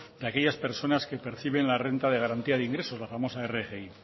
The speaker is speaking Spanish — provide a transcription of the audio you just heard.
que aquellas personas que reciben la renta de garantía de ingresos la famosa rgi